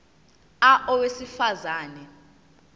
a owesifaz ane